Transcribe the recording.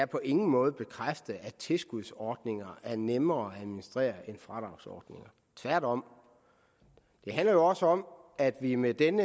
på ingen måde bekræfter at tilskudsordninger er nemmere at administrere end fradragsordninger tværtom det handler jo også om at vi med den